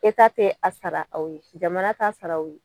te a sara aw ye, jamana t'a sar'aw ye.